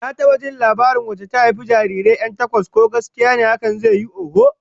Na taba jin labarin wacce ta haifi jarirai 'yan takwas, ko gaskiya ne hakan zai yiwu, oho.